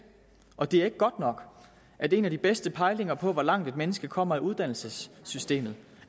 og det er ikke godt nok at en af de bedste pejlinger på hvor langt et menneske kommer i uddannelsessystemet